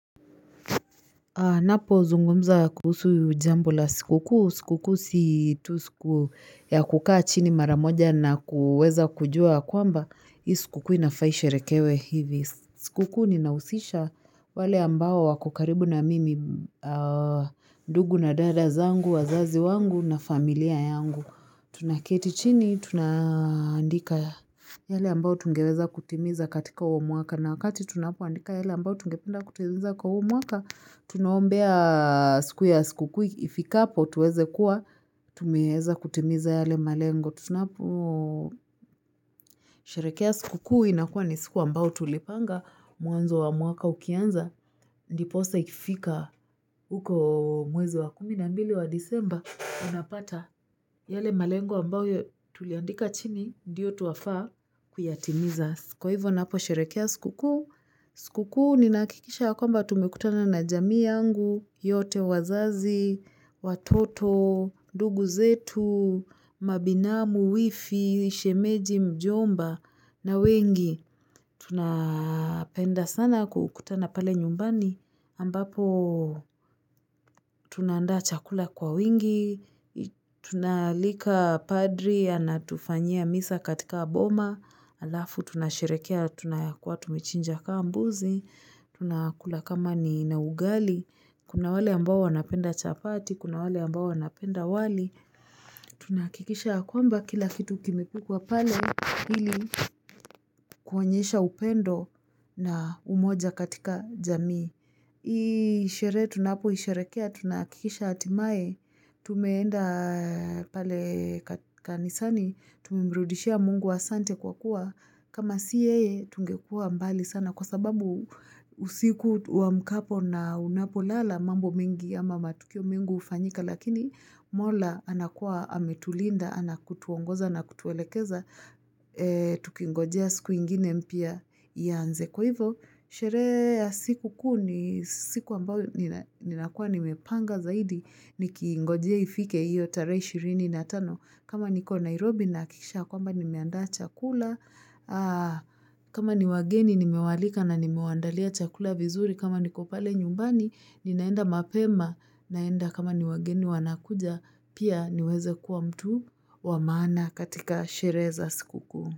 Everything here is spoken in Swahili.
Napo zungumza kuhusu jambo la siku kuu, si tu siku kuu siku ya kukaa chini maramoja na kuweza kujua kwamba, hii siku kuu inafaisherekewe hivi, siku kuu ninausisha wale ambao wako karibu na mimi, ndugu na dadazangu, wazazi wangu na familia yangu, tunaketi chini, tunaandika yale ambao tungeweza kutimiza katika huo mwaka, na wakati tunapoandika yale ambao tungependa kutimiza kwa huu mwaka Tunaombea siku ya siku kuu, ifikapo tuweze kuwa, tumeeza kutimiza yale malengo. Tunapo, sherehekea siku kuu, inakuwa ni siku ambao tulipanga, mwanzo wa mwaka ukianza, ndiposa ikifika, uko mwezi wa kumi na mbili wa disemba, unapata yale malengo ambao tuliandika chini, ndiyo twafaa kuyatimiza. Kwa hivyo, napo sherehekea siku kuu, siku kuu, ninaakikisha yakwamba tumekutana na jamii yangu, yote wazazi, watoto, ndugu zetu, mabinamu, wifi, shemeji, mjomba, na wengi. Tunapenda sana kukutana pale nyumbani, ambapo tunaandaa chakula kwa wingi, tunaalika padri anatufanyia misa katika boma, alafu tunashirehekea tunayakuwa tumechinja ka mbuzi, tunakula kama ni nugali, Kuna wale ambao wanapenda chapati, kuna wale ambao wanapenda wali. Tunaakikisha ya kwamba kila kitu kimepikwa pale hili kuonyesha upendo na umoja katika jamii. Hii sherehe tunapoisherekea, tunaakikisha hatimae, tumeenda pale kanisani, tumemrudishia mungu asante kwa kuwa. Kama si yeye tungekuwa mbali sana kwa sababu usiku uwamkapo na unapolala mambo mengi ama matukio mengi ufanyika lakini mola anakuwa ametulinda, anapotuongoza na kutuelekeza, tukingojea siku ingine mpya ianze kwa hivyo. Sherehe ya siku kuu ni siku ambayo ni nakuwa nimepanga zaidi ni kiingojea ifike iyo tarehe ishirini natano. Kama niko Nairobi naakikisha kwamba nimeandaa chakula. Kama ni wageni nimewaalika na nimewaandalia chakula vizuri. Kama niko pale nyumbani ninaenda mapema. Naenda kama ni wageni wanakuja pia niweze kuwa mtu wa maana katika sherehe za siku kuu.